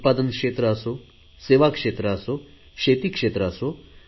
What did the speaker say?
उत्पादन क्षेत्र असो सेवा क्षेत्र असो शेती क्षेत्र असो